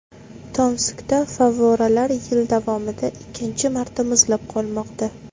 Tomskda favvoralar yil davomida ikkinchi marta muzlab qolmoqda.